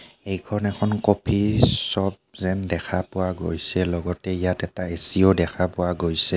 এইখন এখন coffee shop যেন দেখা পোৱা গৈছে লগতে ইয়াত এটা এচিও দেখা পোৱা গৈছে।